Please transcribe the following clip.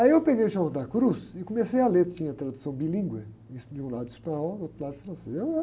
Aí eu peguei o João da Cruz e comecei a ler, tinha tradução bilíngue, es, de um lado espanhol, do outro lado francês.